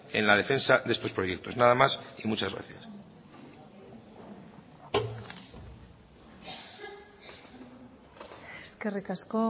en la defensa de estos proyectos nada más y muchas gracias eskerrik asko